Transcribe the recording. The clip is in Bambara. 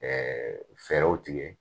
fɛɛrɛw tigɛ